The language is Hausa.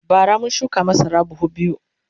bara mun shuka masara buhu biyu